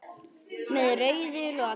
Með rauðu loki.